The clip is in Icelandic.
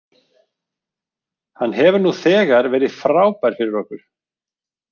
Hann hefur nú þegar verið frábær fyrir okkur.